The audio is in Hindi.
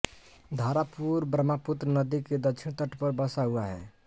धारापुर ब्रह्मपुत्र नदी के दक्षिणी तट पर बसा हुआ है